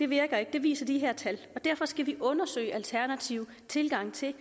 virker ikke det viser de her tal og derfor skal vi undersøge alternative tilgange til